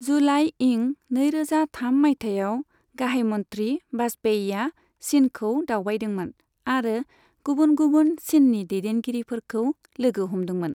जुलाई इं नैरोजा थाम माइथायाव गाहाइ मन्थ्रि बाजपेयीया चिनखौ दावबायदोंमोन आरो गुबुन गुबुन चिननि दैदेनगिरिफोरखौ लोगो हमदोंमोन।